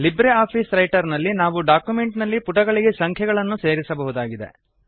Libre office Writer ನಲ್ಲಿ ನಾವು document ನಲ್ಲಿ ಪುಟಗಳಿಗೆ ಸಂಖ್ಯೆಗಳನ್ನು ಸೇರಿಸಬಹುದಾಗಿದೆ